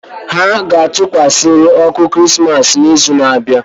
Ha ga-atụkwasịrịrị ọkụ Krismas n'izu na-abịa